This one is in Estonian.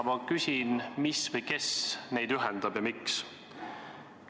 Ma küsin, mis või kes neid ühendab ja miks.